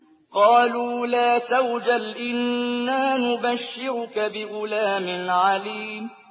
قَالُوا لَا تَوْجَلْ إِنَّا نُبَشِّرُكَ بِغُلَامٍ عَلِيمٍ